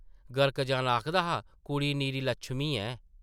गर्क जाना आखदा हा, कुड़ी निरी लक्शमी ऐ ।